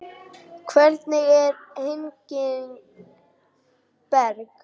Hvernig er Henning Berg?